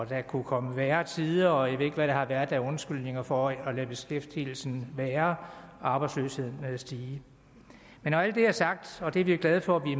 der kunne komme værre tider og jeg ved ikke hvad der har været af undskyldninger for at lade beskæftigelsen være og arbejdsløsheden stige men når alt det er sagt og det er vi glade for at vi